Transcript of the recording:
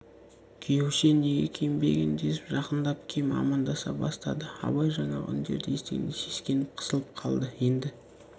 күйеуше неге киінбеген десіп жақындап кеп амандаса бастады абай жаңағы үндерді естігенде сескеніп қысылып қалды енді